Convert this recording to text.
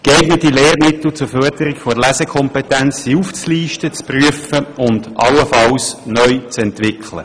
Geeignete Lehrmittel zur Förderung der Lesekompetenz sind aufzulisten, zu prüfen und allenfalls neu zu entwickeln.